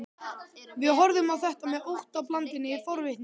Við horfðum á þá með óttablandinni forvitni.